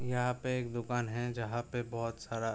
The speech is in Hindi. यहाँ पे एक दुकान है जहाॅं पे बोहोत सारा --